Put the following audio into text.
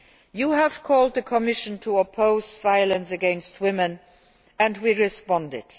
You have called on the Commission to oppose violence against women, and we have responded.